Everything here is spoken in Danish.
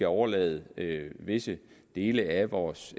overlade visse dele af vores